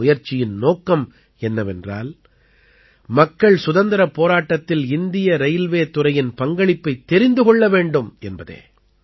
இந்த முயற்சியின் நோக்கம் என்னவென்றால் மக்கள் சுதந்திரப் போராட்டத்தில் இந்திய ரயில்வே துறையின் பங்களிப்பைத் தெரிந்து கொள்ள வேண்டும் என்பதே